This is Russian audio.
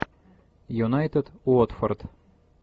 юнайтед уотфорд